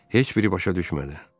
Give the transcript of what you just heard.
Heç biri başa düşmədi.